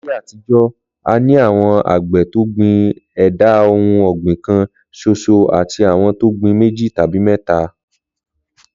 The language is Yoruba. Láyé àtijó̩, a ní àwo̩n àgbè̩ tó gbìn è̩dà ohun ò̩gbìn kan s̩os̩o àti àwo̩n tó gbin méjì tàbí mé̩ta